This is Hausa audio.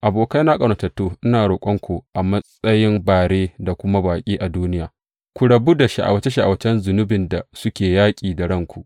Abokaina ƙaunatattu, ina roƙonku, a matsayin bare da kuma baƙi a duniya, ku rabu da sha’awace sha’awacen zunubin da suke yaƙi da ranku.